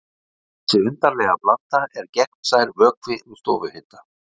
Þessi undarlega blanda er gegnsær vökvi við stofuhita.